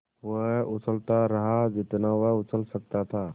वो उछलता रहा जितना वो उछल सकता था